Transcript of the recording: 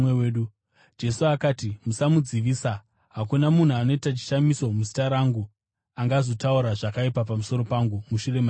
Jesu akati, “Musamudzivisa. Hakuna munhu anoita chishamiso muzita rangu angazotaura zvakaipa pamusoro pangu mushure maizvozvo,